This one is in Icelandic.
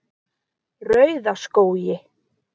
Rauðaskógi